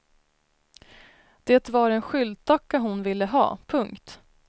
Det var en skyltdocka hon ville ha. punkt